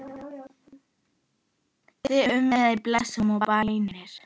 Þig umvefji blessun og bænir.